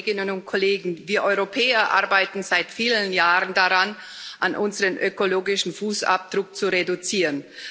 Liebe Kolleginnen und Kollegen, wir Europäer arbeiten seit vielen Jahren daran, unseren ökologischen Fußabdruck zu reduzieren.